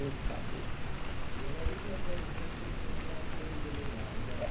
de saber. E é a última cidade então que você vai ser a filha do delegado,